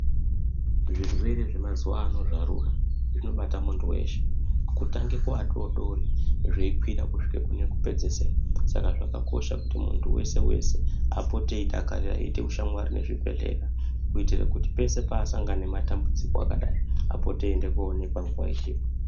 Zvirwere zvemazuvano zvarura zvinobata muntu weshe kutange kuadodori zveikwira kusvika kune wekupedzisira, saka zvakakosha kuti muntu wese wese apote eidakarira eiite ushamwari nezvibhedhleya kuitire kuti pese paasangana nematambudziko akadai apote eiende koonekwa nguwa ichipo.